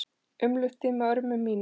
Umlukt þig með örmum mínum.